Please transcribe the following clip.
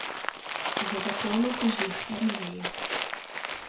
V zakonu teži k harmoniji.